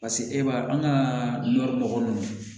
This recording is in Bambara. Paseke e b'a an ka nɔri nɔgɔ ninnu